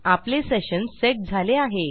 आपले session set झाले आहे